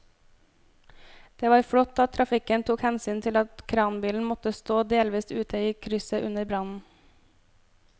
Det var flott at trafikken tok hensyn til at kranbilen måtte stå delvis ute i krysset under brannen.